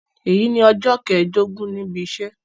Èyí ni ọjọ́ kẹẹ̀ẹ́dógún níbi iṣẹ́